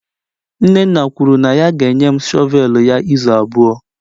nnenna kwuru na ya ga-enye m shọvel ya izu abụọ.